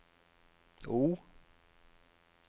O